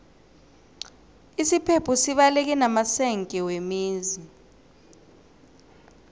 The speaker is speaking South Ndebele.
isiphepho sibaleke namasenge wemizi